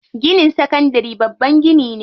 Ginin sakandari babban gini ne.